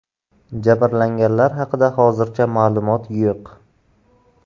Jabrlanganlar haqida hozircha ma’lumot yo‘q.